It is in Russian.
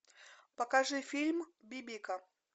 покажи фильм бибика